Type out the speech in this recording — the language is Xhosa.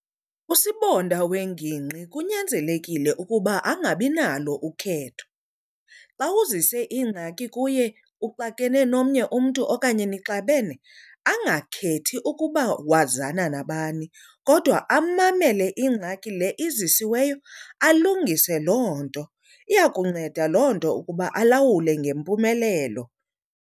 Usibonda wengingqi kunyanzelekile ukuba angabinalo ukhetho. Xa uzise ingxaki kuye uxakene nomnye umntu okanye nixabene angakhethi ukuba wazana nabani kodwa amamele ingxaki le izisiweyo alungise loo nto. Iya kunceda loo nto ukuba alawule ngempumelelo.